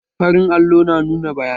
Farin allo na nuna bayanai